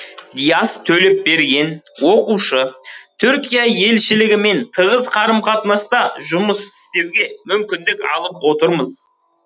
диас төлепберген оқушы түркия елшілігімен тығыз қарым қатынаста жұмыс істеуге мүмкіндік алып отырмыз